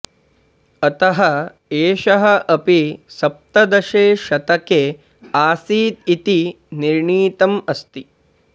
अतः एषः अपि सप्तदशे शतके आसीत् इति निर्णीतम् अस्ति